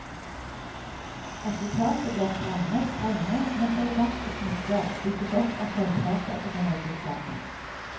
Resultatet blir stramme, strenge, men elegante smykker bygget opp av sølvplater som er loddet sammen.